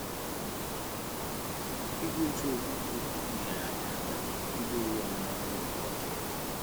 Ị́gwá òtù ókpùkpé ókwú nyèrè yá áká ídí ówú ọ́mụ́má n’ógè mgbàké yá.